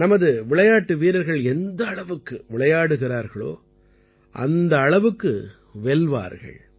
நமது விளையாட்டு வீரர்கள் எந்த அளவுக்கு விளையாடுகிறார்களோ அந்த அளவுக்கு வெல்வார்கள்